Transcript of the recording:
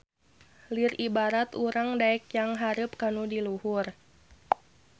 Lir ibarat urang daek nyanghareup kanu di luhur.